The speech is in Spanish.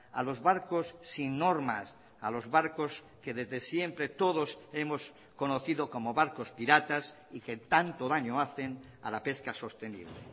a los barcos sin normas a los barcos que desde siempre todos hemos conocido como barcos piratas y que tanto daño hacen a la pesca sostenible